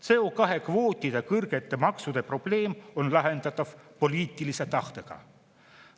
CO2-kvootide kõrgete maksude probleem on lahendatav poliitilise tahtega.